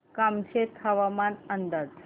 कामशेत हवामान अंदाज